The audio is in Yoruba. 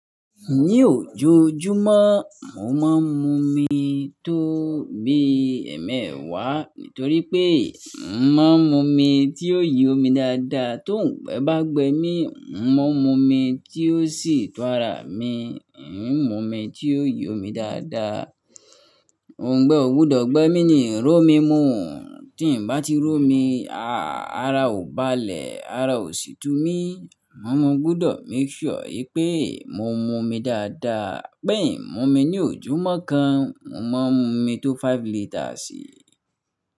Ní oojòójúmọ̀, mo máa ń mu omi tó bí ẹ̀ẹ̀mẹ́wàá nítorí pé mo máa ń mu omi tí ó yo omi dáadáa. Tó ǹgbé bá gbé mi, mo máa ń mu omi tí ó sì tún ara mi, ẹ̀ ń mu omi tí ó yí omi dáadáa. Òǹgbẹ́ o gbọ́dọ̀ gbé mi ní ìró mi mọ́, tí n bá ti ró mi, ààrá ò bá lè, ààrá ò sì tú mí. Mo máa gbọ́dọ̀ make sure wípé mo mu omi dáadáa. Pé ì ń mu omi ní ojúmọ́ mọ́ kan, mo máa ń mu omi tó five liters sí i.